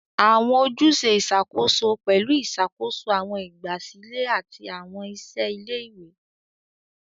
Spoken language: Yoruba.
Awọn ojuse iṣakoso pẹlu iṣakoso awọn igbasilẹ ati awọn iṣẹ ile-iwe.